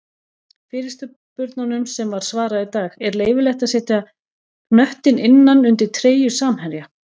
Fyrirspurnum sem var svarað í dag:-Er leyfilegt að setja knöttinn innan undir treyju samherja?